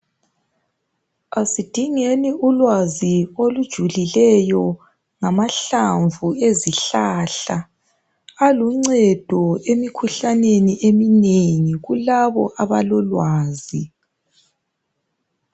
asidingeni ulwazi olujulileyo ngamahlamvu ezihlahla aluncedo emikhuhlaneni eminengi kulabo abalolwazi